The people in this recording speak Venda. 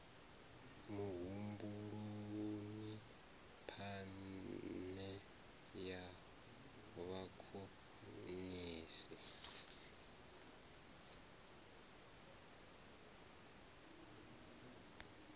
muhumbuloni phane e ya vhakonesi